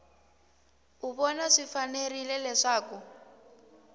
u vona swi fanerile leswaku